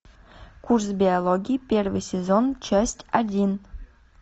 курс биологии первый сезон часть один